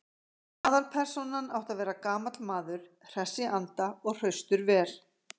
Aðalpersónan átti að vera gamall maður, hress í anda og hraustur vel.